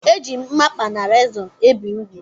E ji mmamkpa na rezọ ebe ugwu